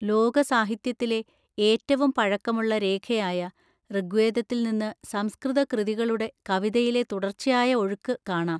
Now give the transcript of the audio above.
ലോകസാഹിത്യത്തിലെ ഏറ്റവും പഴക്കമുള്ള രേഖയായ ഋഗ്വേദത്തിൽ നിന്ന് സംസ്കൃത കൃതികളുടെ കവിതയിലെ തുടർച്ചയായ ഒഴുക്ക് കാണാം.